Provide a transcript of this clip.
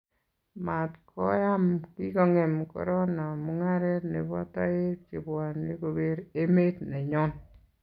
mat ko am kikongem korona mugaret nebo taek chebwane koker emet nenyon